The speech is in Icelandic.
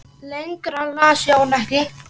Lengra las Jón ekki.